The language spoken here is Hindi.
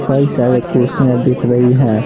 कई सारे कुर्सियां दिख रही हैं।